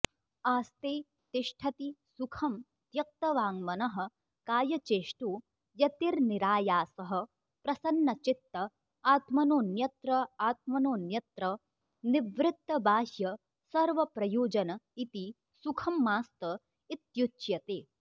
आस्ते तिष्ठति सुखं त्यक्तवाङ्मनःकायचेष्टो यतिर्निरायासः प्रसन्नचित्त आत्मनोऽन्यत्र आत्मनोऽन्यत्र निवृत्तबाह्यसर्वप्रयोजन इति सुखमास्तइत्युच्यते